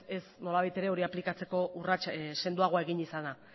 ez nolabait ere aplikatzeko urrats sendoagoa ipini izana